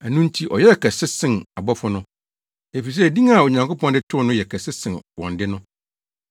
Ɛno nti ɔyɛɛ ɔkɛse sen abɔfo no, efisɛ din a Onyankopɔn de too no no yɛ kɛse sen wɔn de no.